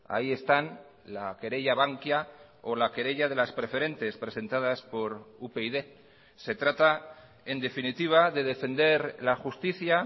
ahí están la querella bankia o la querella de las preferentes presentadas por upyd se trata en definitiva de defender la justicia